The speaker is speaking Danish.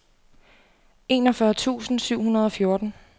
enogfyrre tusind syv hundrede og fjorten